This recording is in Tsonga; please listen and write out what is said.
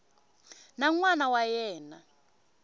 na n wana wa yena